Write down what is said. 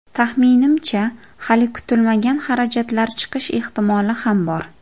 Taxminimcha, hali kutilmagan xarajatlar chiqish ehtimoli ham bor.